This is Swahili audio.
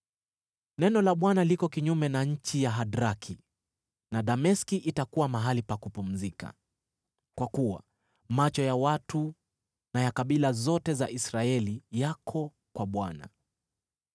Neno: Neno la Bwana liko kinyume na nchi ya Hadraki na Dameski itakuwa mahali pa kupumzika, kwa kuwa macho ya watu na ya kabila zote za Israeli yako kwa Bwana ,